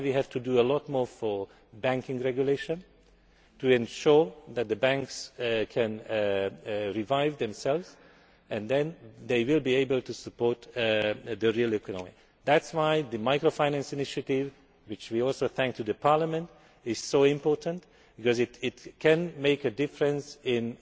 That is why we have to do a lot more about banking regulation to ensure that the banks can revive themselves and then they will be able to support the real economy. That is why the microfinance initiative for which we also thank the Parliament is so important because it can make a difference